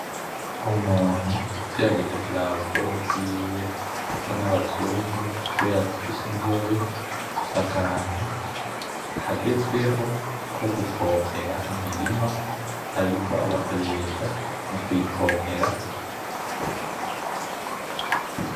Umuntu ugerageje kuraba ukuboko bwiwe asa nabazungu kubera ko afise inzobe afise akantu kagezweho ko gupompera imirima ariko agakoresha mukuyipompera